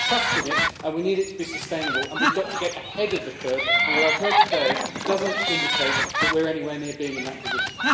We need trust in it and we need it to be sustainable, and we've got to get ahead of the curve and what I've heard today doesn't indicate that we're anywhere near being in that position.